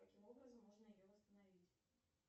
каким образом можно ее восстановить